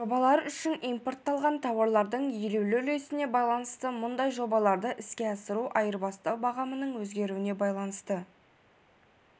жобалар үшін импортталатын тауарлардың елеулі үлесіне байланысты мұндай жобаларды іске асыру айырбастау бағамының өзгеруіне байланысты